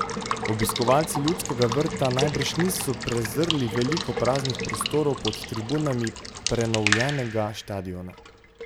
Obiskovalci Ljudskega vrta najbrž niso prezrli veliko praznih prostorov pod tribunami prenovljenega štadiona.